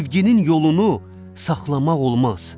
Sevginin yolunu saxlamaq olmaz.